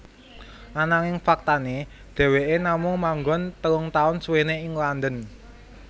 Ananging faktané dheweké namung manggon telung taun suwené ning London